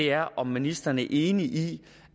er om ministeren er enig i